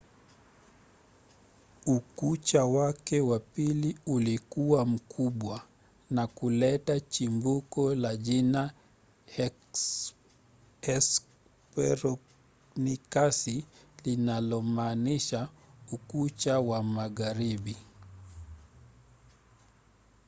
ukucha wake wa pili ulikuwa mkubwa na kuleta chimbuko la jina hesperonikasi linalomaanisha ukucha wa magharibi.